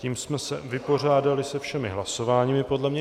Tím jsme se vypořádali se všemi hlasováními podle mě.